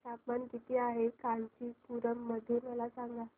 तापमान किती आहे कांचीपुरम मध्ये मला सांगा